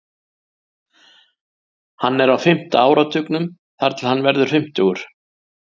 Hann er á fimmta áratugnum þar til hann verður fimmtugur.